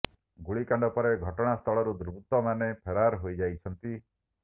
ଗୁଳିକାଣ୍ଡ ପରେ ଘଟଣା ସ୍ଥଳରୁ ଦୁବୃର୍ତ୍ତ ମାନେ ଫେରାର୍ ହୋଇଯାଇଛନ୍ତି